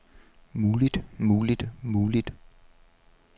muligt muligt muligt